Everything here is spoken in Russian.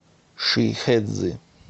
шихэцзы